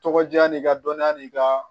Tɔgɔ diya n'i ka dɔniya n'i ka